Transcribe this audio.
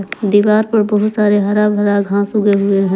दीवार पर बहुत सारे हरा भरा घास उग हुए हैं।